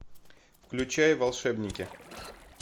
включай волшебники